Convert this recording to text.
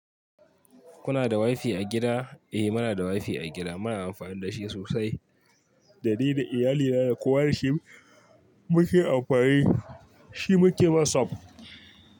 Kuna da Wi-Fi a gida? Eh muna da wifi a gida. Muna amfani da shi sosai. Da ni da iyalina da kowa da shi muke amfani, shi muke whatsapp.